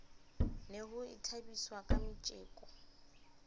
ne ho ithabiswa ka metjeko